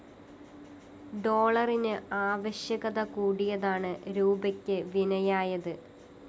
ഡോളറിന് ആവശ്യകത കൂടിയതാണ് രൂപയ്ക്ക് വിനയായത്